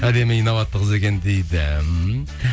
әдемі инабатты қыз екен дейді